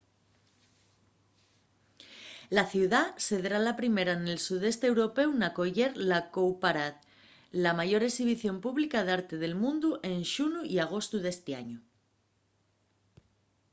la ciudá sedrá la primera nel sudeste européu n'acoyer la cowparade la mayor exhibición pública d'arte del mundu ente xunu y agostu d'esti añu